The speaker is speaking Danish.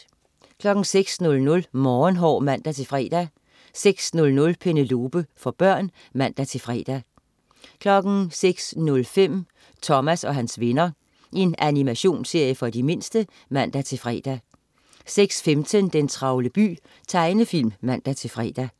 06.00 Morgenhår (man-fre) 06.00 Penelope. For børn (man-fre) 06.05 Thomas og hans venner. Animationsserie for de mindste (man-fre) 06.15 Den travle by. Tegnefilm (man-fre)